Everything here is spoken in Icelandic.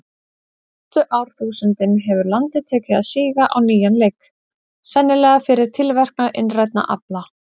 Síðustu árþúsundin hefur landið tekið að síga á nýjan leik, sennilega fyrir tilverknað innrænna afla.